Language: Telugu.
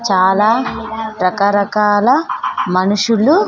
చాలా రకరకాల మనుషులు--